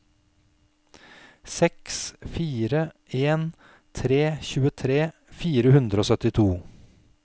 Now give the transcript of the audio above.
seks fire en tre tjuetre fire hundre og syttito